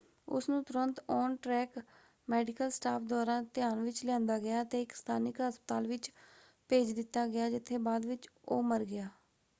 ਉਸ ਨੂੰ ਤੁਰੰਤ ਔਨ-ਟ੍ਰੈਕ ਮੈਡੀਕਲ ਸਟਾਫ਼ ਦੁਆਰਾ ਧਿਆਨ ਵਿੱਚ ਲਿਆਂਦਾ ਗਿਆ ਅਤੇ ਇੱਕ ਸਥਾਨਕ ਹਸਪਤਾਲ ਵਿੱਚ ਭੇਜ ਦਿੱਤਾ ਗਿਆ ਜਿੱਥੇ ਬਾਅਦ ਵਿੱਚ ਉਹ ਮਰ ਗਿਆ।